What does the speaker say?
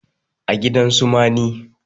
a gidan su mani